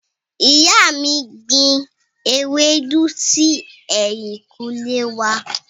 Ìyá mi gbin ewédú si ẹ̀yìnkùlé wá.